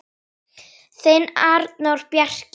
Þinn Arnór Bjarki.